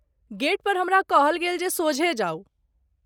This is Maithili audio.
गेट पर हमरा कहल गेल जे सोझे जाउ।